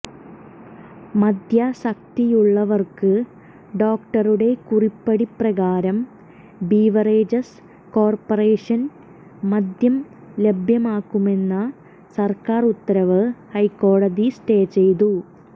മദ്യാസക്തിയുള്ളവർക്ക് ഡോക്ടറുടെ കുറിപ്പടി പ്രകാരം ബീവറേജസ് കോർപറേഷൻ മദ്യം ലഭ്യമാക്കുമെന്ന സർക്കാർ ഉത്തരവ് ഹൈക്കോടതി സ്റ്റേ ചെയ്തു